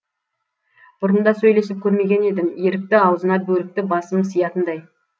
бұрында сөйлесіп көрмеген едім ерікті ауызына бөрікті басым сиятындай